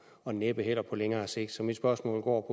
og næppe heller på længere sigt så mit spørgsmål går